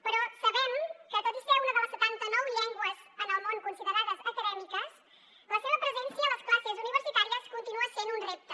però sabem que tot i ser una de les setanta nou llengües en el món considerades acadèmiques la seva presència a les classes universitàries continua sent un repte